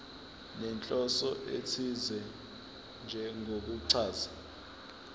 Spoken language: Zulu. nenhloso ethize njengokuchaza